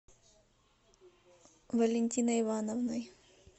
валентиной ивановной